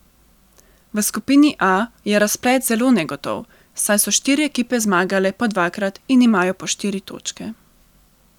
V skupini A je razplet zelo negotov, saj so štiri ekipe zmagale po dvakrat in imajo po štiri točke.